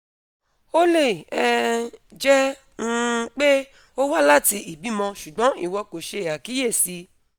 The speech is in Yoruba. o le um jẹ um pe o wa lati ibimọ ṣugbọn iwọ ko ṣe akiyesi